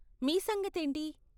మీ సంగతి ఏంటి?